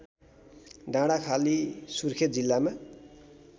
डाँडाखाली सुर्खेत जिल्लामा